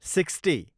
sixty